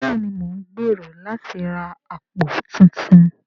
Bẹ́ẹ̀ni mo ń gbèrò láti ra àpò tuntun